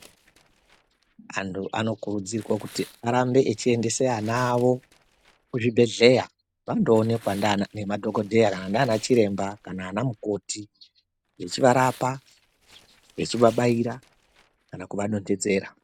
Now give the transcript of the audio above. Antu anokurudzirwa kuti arambe echiendesa ana avo kuzvibhedhlera vandoonekwa ngemadhokodheya, ndianachiremba kana anamukoti echiarapa echivabaira kana kuvadonhedzera.